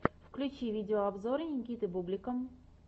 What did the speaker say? включи видеообзоры никиты бублика